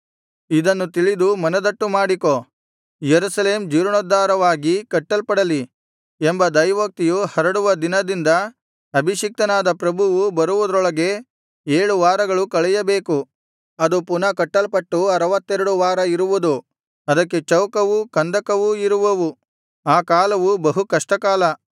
ಇದನ್ನು ತಿಳಿದು ಮನದಟ್ಟುಮಾಡಿಕೋ ಯೆರೂಸಲೇಮ್ ಜೀರ್ಣೋದ್ಧಾರವಾಗಿ ಕಟ್ಟಲ್ಪಡಲಿ ಎಂಬ ದೈವೋಕ್ತಿಯು ಹರಡುವ ದಿನದಿಂದ ಅಭಿಷಿಕ್ತನಾದ ಪ್ರಭುವು ಬರುವುದರೊಳಗೆ ಏಳು ವಾರಗಳು ಕಳೆಯಬೇಕು ಅದು ಪುನಃ ಕಟ್ಟಲ್ಪಟ್ಟು ಅರವತ್ತೆರಡು ವಾರ ಇರುವುದು ಅದಕ್ಕೆ ಚೌಕವೂ ಕಂದಕವೂ ಇರುವವು ಆ ಕಾಲವು ಬಹು ಕಷ್ಟಕಾಲ